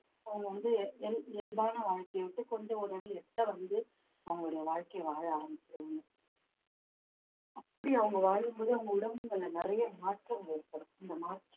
அவங்க வந்து இயல்~இயல்பான வாழ்க்கையை விட்டு கொஞ்சம் ஒரு அடி எட்ட வந்து அவங்களுடைய வாழ்க்கைய வாழ ஆரம்பிச்சிடுவாங்க அப்படி அவங்க வாழும் போது அவங்க உடம்புல நிறைய மாற்றங்கள் ஏற்படும் இந்த மாற்ற~